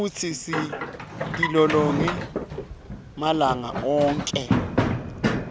futsi sitilolonge malanga onkhe